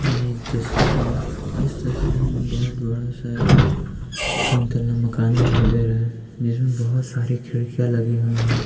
यह एक तस्वीर है इस तस्वीर में बहुत बड़ा सा एक तीन माला मकान दिखाई दे रहा है जिसमें बहुत सारे खिड़कियाँ लगी हुई हैं।